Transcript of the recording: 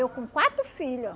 Eu com quatro filho